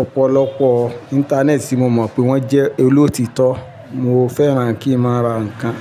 ọ̀pọ̀lọpọ̀ Íńtánẹ́ẹ̀tì tí mo mọ̀ pé wọ́n jẹ́ olóòtítọ́. Mo fẹ́ràn kí n máa ra nǹkan.